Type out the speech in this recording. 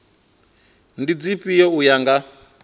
ndi dzifhio u ya nga